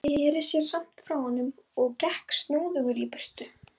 Sneri sér samt frá honum og gekk snúðugur í burtu.